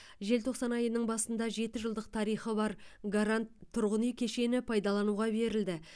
желтоқсан айының басында жеті жылдық тарихы бар гарант тұрғынүй кешені пайдалануға берілді